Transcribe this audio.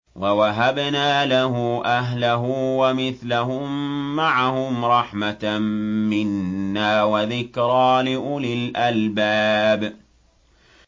وَوَهَبْنَا لَهُ أَهْلَهُ وَمِثْلَهُم مَّعَهُمْ رَحْمَةً مِّنَّا وَذِكْرَىٰ لِأُولِي الْأَلْبَابِ